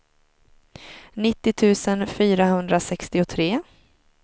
nittio tusen fyrahundrasextiotre